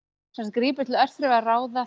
grípur til örþrifaráða